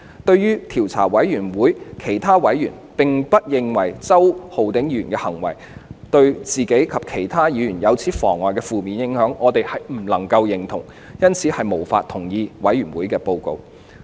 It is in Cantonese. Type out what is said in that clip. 對於調查委員會其他委員並不認為周議員的行為對自己及其他議員有如此嚴重的負面影響，我們絕對不能認同，因此無法同意委員會報告的內容。